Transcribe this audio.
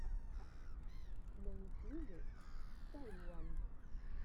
на ютьюбе сайуан